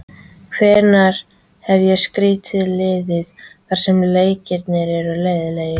Hvenær hef ég stýrt liði þar sem leikirnir eru leiðinlegir?